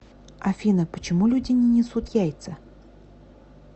афина почему люди не несут яица